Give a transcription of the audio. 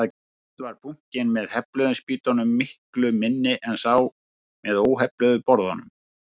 Fyrst var bunkinn með hefluðu spýtunum miklu minni en sá með óhefluðu borðunum.